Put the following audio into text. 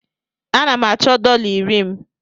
Ana m achọ dọla iri m.